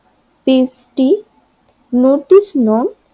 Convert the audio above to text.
টেস্টিটি নতুন নিয়ম